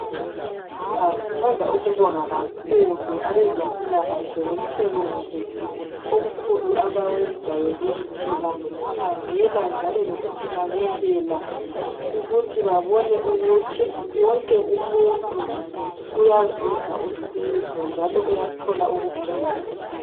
Sithanda ukubonga kakhulu abezempilakahle ngomsebenzi omkhulu abawenzayo kithi ngokusikhangela njalo lokusinakelela ukuthi babone ukuthi wonke umuntu uyazuza usizo njalo uyathola ukuphila.